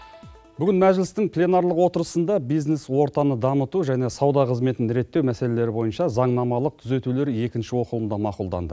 бүгін мәжілістің пленарлық отырысында бизнес ортаны дамыту және сауда қызметін реттеу мәселелері бойынша заңнамалық түзетулер екінші оқылымда мақұлданды